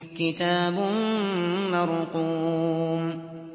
كِتَابٌ مَّرْقُومٌ